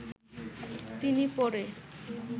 তিনি পরে